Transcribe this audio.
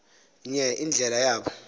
nye indlela yabo